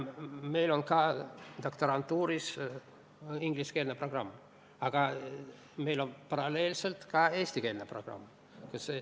Meil on doktorantuuris ingliskeelne programm, aga meil on paralleelselt ka eestikeelne programm.